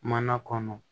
Mana kɔnɔ